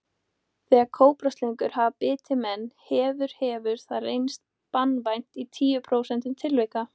Þegar kóbraslöngur hafa bitið menn hefur hefur það reynst banvænt í tíu prósentum tilvika.